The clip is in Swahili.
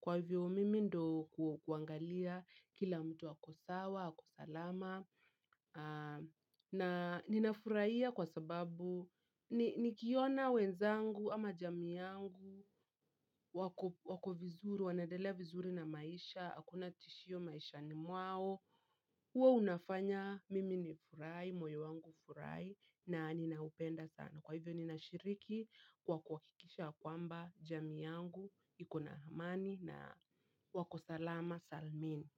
Kwa hivyo mimi ndio kuangalia kila mtu ako sawa, ako salama. Na nina furahia kwa sababu nikiona wenzangu ama jamii yangu wako vizuri, wanaendelea vizuri na maisha, hakuna tishio maishani mwao huwa unafanya mimi ni furahi, moyo wangu ufurahi. Na ninaupenda sana. Kwa hivyo nina shiriki. Kwa kuhakikisha ya kwamba jamii yangu ikona amani na wako salama salmini.